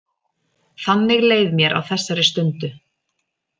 Þannig leið mér á þessari stundu.